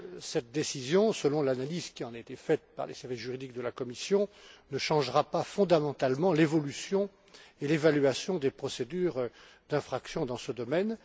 Cette décision, selon l'analyse qui en a été faite par les services juridiques de la Commission, ne changera pas fondamentalement l'évolution et l'évaluation des procédures d'infraction dans ce domaine.